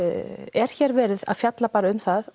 er hér verið að fjalla bara um það